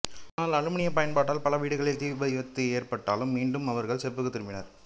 ஆனால் அலுமினியப் பயன்பாட்டால் பல வீடுகளில் தீவிபத்துகள் ஏற்பட்டதால் மீண்டும் அவர்களும் செப்புக்கு திரும்பினர்